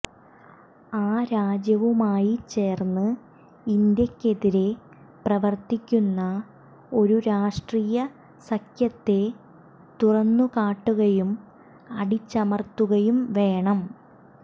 ആ രാജ്യവുമായി ചേര്ന്ന് ഇന്ത്യയ്ക്കെതിരെ പ്രവര്ത്തിക്കുന്ന ഒരു രാഷ്ട്രീയ സഖ്യത്തെ തുറന്നുകാട്ടുകയും അടിച്ചമര്ത്തുകയും വേണം